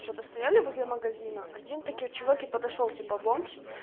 что-то стояли возле магазина один такие чуваки подошёл типа бомж